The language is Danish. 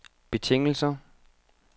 betingelser